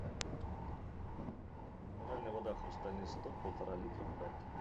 минеральная вода хрустальный исток полтора литра пэт